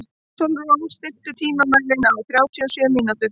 Sólrún, stilltu tímamælinn á þrjátíu og sjö mínútur.